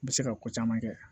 N bɛ se ka ko caman kɛ